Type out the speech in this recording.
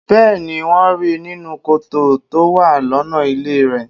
Bẹ́ẹ̀ni, wón ríi nínú kòtò tó wà lọ́nà ilé rèé.